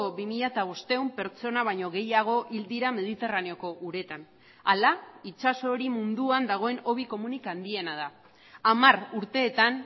bi mila bostehun pertsona baino gehiago hil dira mediterraneoko uretan hala itsaso hori munduan dagoen hobi komunik handiena da hamar urteetan